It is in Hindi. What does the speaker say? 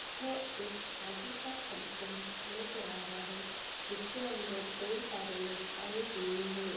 एक शादी का फंकशन लग रहा है जिसके अंदर कई सारे लोग आए हुये हैं।